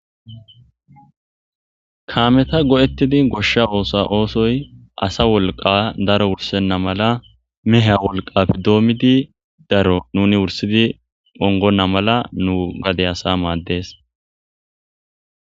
kaameta go7ettidi goshsha oosa oosoy asa wolqa daro wursenna mala meha wolqafi doommidi daro nuni wursidi ongonna mala nu gade asa maaddes